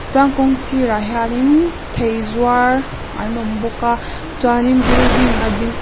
chuan kawng sirah hianin thei zuar an awm bawk a chuanin building a ding--